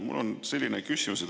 Mul on selline küsimus.